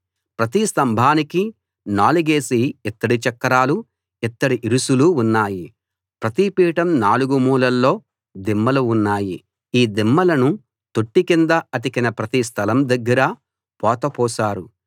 ప్రతి స్తంభానికీ నాలుగేసి ఇత్తడి చక్రాలు ఇత్తడి ఇరుసులు ఉన్నాయి ప్రతిపీఠం నాలుగు మూలల్లో దిమ్మలు ఉన్నాయి ఈ దిమ్మలను తొట్టి కింద అతికిన ప్రతి స్థలం దగ్గరా పోత పోశారు